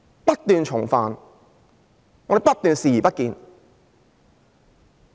不斷重犯，我們不斷視而不見。